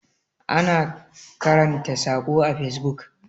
ana karanta sako a fesbuk